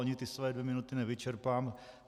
Ani ty své dvě minuty nevyčerpám.